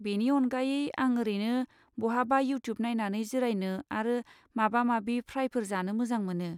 बेनि अनगायै, आं ओरैनो बहाबा इउट्युब नायनानै जिरायनो आरो माबा माबि फ्राइफोर जानो मोजां मोनो।